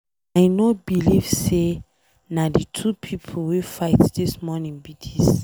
I no believe say na the two people wey fight dis morning be dis.